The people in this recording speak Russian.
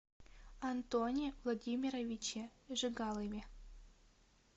антоне владимировиче жигалове